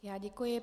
Já děkuji.